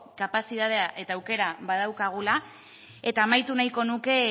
kapazitatea eta aukera badaukagula eta amaitu nahiko nuke